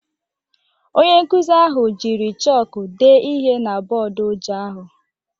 Onye nkuzi ahụ jiri chọkụ dee ihe na bọọdụ ojii ahụ